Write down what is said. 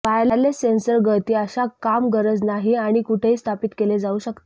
wireless sensor गळती अशा काम गरज नाही आणि कुठेही स्थापित केले जाऊ शकते